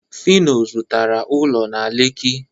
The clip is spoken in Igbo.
phyno zụtara ụlọ na lekki